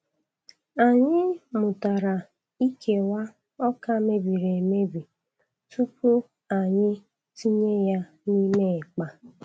Anyị mụtara ikewa ọka mebiri emebi tupu anyị tinye ya n'ime akpa.